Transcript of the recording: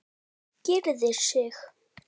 Gyrðir sig.